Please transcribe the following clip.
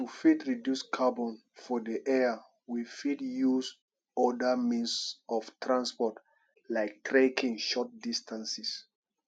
to fit reduce carbon for the air we fit use oda means of transport like trekking short distances